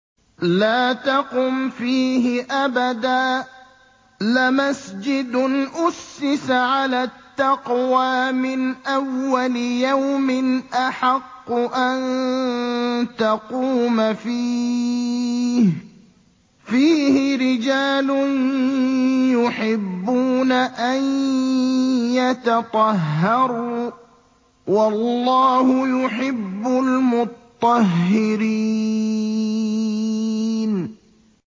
لَا تَقُمْ فِيهِ أَبَدًا ۚ لَّمَسْجِدٌ أُسِّسَ عَلَى التَّقْوَىٰ مِنْ أَوَّلِ يَوْمٍ أَحَقُّ أَن تَقُومَ فِيهِ ۚ فِيهِ رِجَالٌ يُحِبُّونَ أَن يَتَطَهَّرُوا ۚ وَاللَّهُ يُحِبُّ الْمُطَّهِّرِينَ